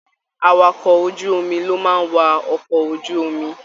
Àwàkọ̀ ojú omi lo máa n wà okọ̀ ojú omi.